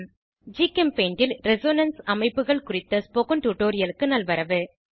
ஜிகெம்பெய்ண்ட் ல் Resonanceஉடனிசைவு அமைப்புகள் குறித்த ஸ்போகன் டுடோரியலுக்கு நல்வரவு